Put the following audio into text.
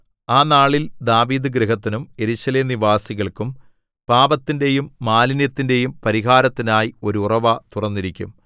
ആ നാളിൽ ദാവീദുഗൃഹത്തിനും യെരൂശലേം നിവാസികൾക്കും പാപത്തിന്റെയും മാലിന്യത്തിന്റെയും പരിഹാരത്തിനായി ഒരു ഉറവ തുറന്നിരിക്കും